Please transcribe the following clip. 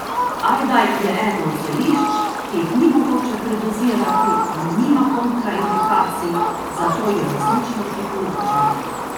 Ajda je eno od zelišč, ki jih ni mogoče predozirati in nima kontraindikacij, zato jo resnično priporočam.